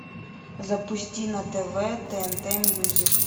запусти на тв тнт мьюзик